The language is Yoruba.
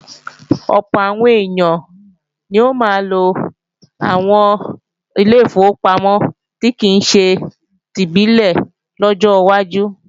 Ọ̀pọ̀ àwọn èèyàn ni ó máa lo àwọn ilé ìfowópamọ́ tí kìí ṣe tìbílẹ̀ lọ́jọ́ wájú